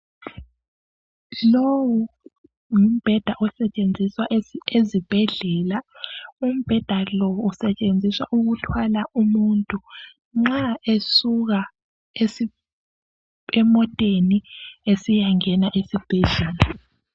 Lowu ngumbheda osetshenziswa ezibhedlela. Usetshenziswa ukuthwala umuntu nxa esuka emoteni esiyangena esibhedlela.